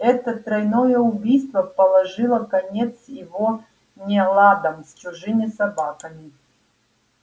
это тройное убийство положило конец его неладам с чужими собаками